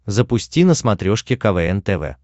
запусти на смотрешке квн тв